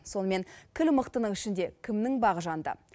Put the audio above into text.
сонымен кіл мықтының ішінде кімнің бағы жанды